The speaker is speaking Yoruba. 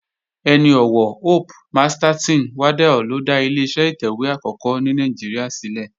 Ẹni ọ̀wọ̀ Hope Masterton Waddell ló dá Ileṣẹ́ ìtẹ̀wé àkọ́kọ́ ní Nàìjíríà sílẹ̀